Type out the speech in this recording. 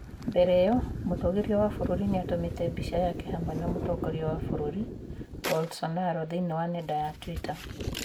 Mbere ĩyo, mũtũgĩria wa bũrũri nĩ aatũmĩte mbica yake hamwe na mũtongoria wa bũrũri Bolsonaro thĩinĩ wa nenda ya Twitter.